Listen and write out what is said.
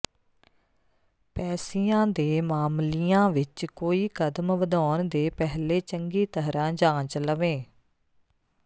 ਪੈਸੀਆਂ ਦੇ ਮਾਮਲੀਆਂ ਵਿੱਚ ਕੋਈ ਕਦਮ ਵਧਾਉਣ ਦੇ ਪਹਿਲੇ ਚੰਗੀ ਤਰ੍ਹਾਂ ਜਾਂਚ ਲਵੇਂ